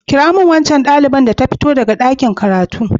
Kirawo min waccan ɗalibar da ta fito daga ɗakin karatu.